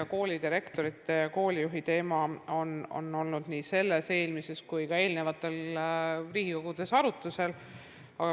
Eks koolidirektori ja koolijuhi teema ole olnud nii selles, eelmises kui ka eelnevates Riigikogudes arutlusel.